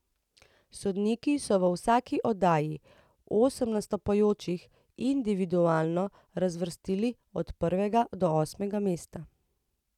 Sodniki so v vsaki oddaji osem nastopajočih individualno razvrstili od prvega do osmega mesta.